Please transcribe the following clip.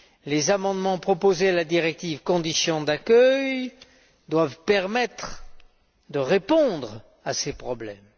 Les amendements proposés à la directive sur les conditions d'accueil doivent permettre de répondre à ces problèmes.